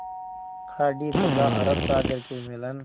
खाड़ी तथा अरब सागर के मिलन